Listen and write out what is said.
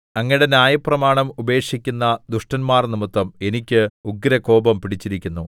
അങ്ങയുടെ ന്യായപ്രമാണം ഉപേക്ഷിക്കുന്ന ദുഷ്ടന്മാർനിമിത്തം എനിക്ക് ഉഗ്രകോപം പിടിച്ചിരിക്കുന്നു